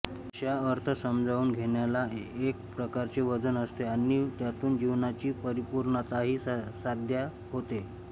अशा अर्थ समजावून घेण्याला एक प्रकारचे वजन असते आणि त्यातून जीवनाची परिपूर्णताही साध्य होते